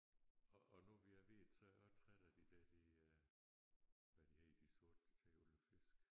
Og og nu vi er ved det så er jeg også træt de der de øh hvad de hedder de sorte der tager alle fiskene